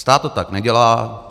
Stát to tak nedělá.